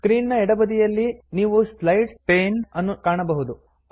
screen ನ ಎಡಬದಿಯಲ್ಲಿ ನೀವು ಸ್ಲೈಡ್ಸ್ ಪೇನ್ ಅನ್ನು ಕಾಣಬಹುದು